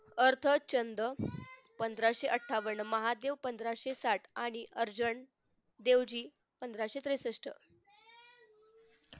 अर्धचंद्र पंधराशे अठ्ठावन्न महादेव पंधराशे साठ आणि urgent देवजी पंधराशे त्रेसष्ट